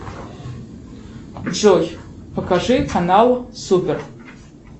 джой покажи канал супер